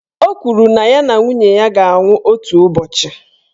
Ọ kwụrụ na ya na nwunye ya ga-anwụ otu ụbọchị.